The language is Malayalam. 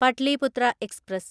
പട്ലിപുത്ര എക്സ്പ്രസ്